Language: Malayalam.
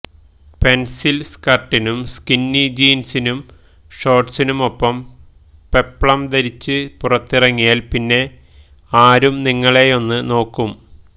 പെന്സില് സ്കര്ട്ടിനും സ്കിന്നി ജീന്സിനും ഷോര്ട്സിനുമൊപ്പം പെപ്ലം ധരിച്ച് പുറത്തിറങ്ങിയാല് പിന്നെ ആരും നിങ്ങളെയൊന്നും നോക്കും